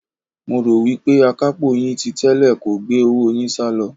Mo rò wí pé akapo yín ti tẹ́lẹ̀ kò gbé owó yín salo.